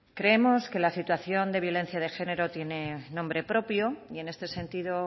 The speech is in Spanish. creemos que la situación de violencia de genero tiene nombre propio y en este sentido